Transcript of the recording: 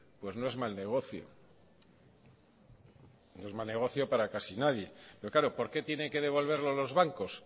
pues no es mal negocio no es mal negocio para casi nadie pero claro por qué tiene que devolverlo los bancos